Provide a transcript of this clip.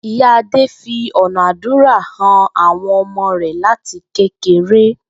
Ìyá Adé fi ò̩nà àdúrà han àwo̩n o̩mo̩ rè̩ láti kékeré